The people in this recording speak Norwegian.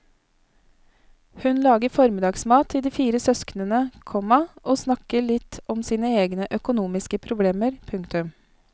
Hun lager formiddagsmat til de fire søsknene, komma og snakker litt om sine egne økonomiske problemer. punktum